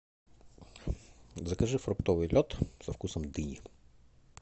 закажи фруктовый лед со вкусом дыни